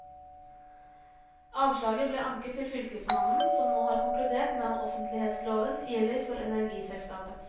Avslaget ble anket til fylkesmannen som nå har konkludert med at offentlighetsloven gjelder for energiselskapet.